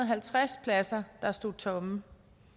halvtreds pladser der stod tomme